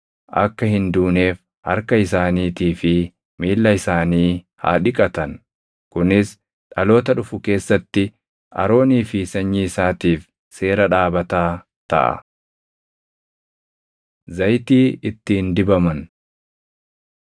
akka hin duuneef harka isaaniitii fi miilla isaanii haa dhiqatan. Kunis dhaloota dhufu keessatti Aroonii fi sanyii isaatiif seera dhaabataa taʼa.” Zayitii Ittiin Dibaman